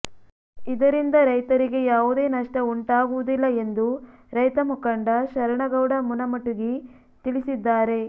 ಇದರಿಂದ ರೈತರಿಗೆ ಯಾವುದೆ ನಷ್ಟ ಉಂಟಾಗುವುದಿಲ್ಲ ಎಂದು ರೈತ ಮುಖಂಡ ಶರಣಗೌಡ ಮುನಮುಟಗಿ ತಿಳಿಸಿದ್ದಾರೆ